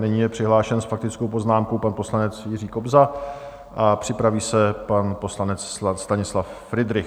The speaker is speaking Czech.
Nyní je přihlášen s faktickou poznámkou pan poslanec Jiří Kobza a připraví se pan poslanec Stanislav Fridrich.